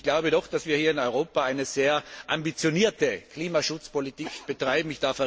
Ich glaube doch, dass wir hier in Europa eine sehr ambitionierte Klimaschutzpolitik betreiben.